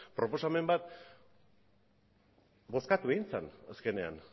proposamen bat bozkatu egin zen azkenean